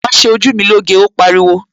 Wàá ṣe ojú mi lóge, ó pariwo!